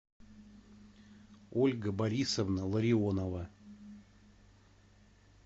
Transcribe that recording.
ольга борисовна ларионова